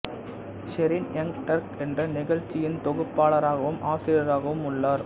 Shereen Young Turk என்ற நிகழ்ச்சியின் தொகுப்பாளராகவும் ஆசிரியராகவும் உள்ளார்